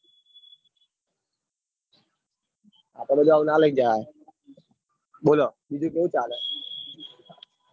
આટલા આ બધું લાઈન ના જવાય બોલો બીજું કેવું ચાલ?